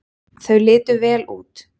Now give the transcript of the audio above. Þau litu vel út.